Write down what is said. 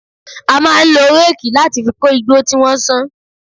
A máa ń lo réèkì láti fi kó igbó tí wọ́n ṣán